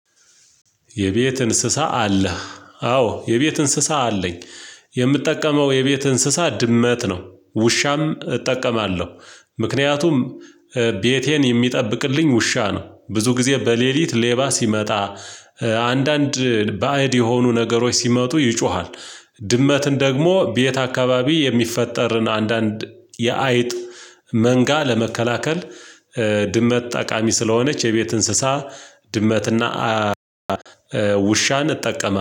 የቤት እንስሳ አለህ? አዎ የቤት እንስሳ አለኝ። የምጠቀመው የቤት እንስሳ ድመት ነው። ውሻም እጠቀማለሁ ምክንያቱም ቤቴን የሚጠብቅልኝ ውሻ ነው። ብዙ ጊዜ በሌሊት ሌባ ሲመጣ፥ አንዳንድ ባዕድ የሆኑ ነገሮች ሲመጡ ይጮሃል ድመትን ደግሞ ቤት አካባቢ የሚፈጠርን አንዳንድ የአይጥ መንጋ ለመከላከል ድመት ጠቃሚ ስለሆነች የቤት እንስሳ ድመትና ውሻን እጠቀማለው